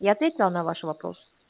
я ответила на ваш вопрос